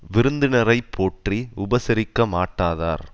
விருந்தினரை போற்றி உபசரிக்க மாட்டாதார்